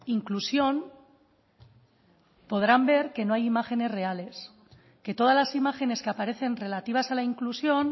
inclusión podrán ver que no hay imágenes reales que todas las imágenes que aparecen relativas a la inclusión